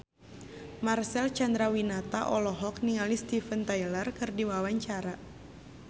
Marcel Chandrawinata olohok ningali Steven Tyler keur diwawancara